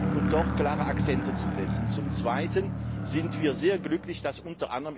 um doch klare Akzente zu setzen. Zum Zweiten sind wir sehr glücklich, dass